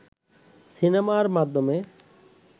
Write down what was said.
সিনেমার মাধ্যমে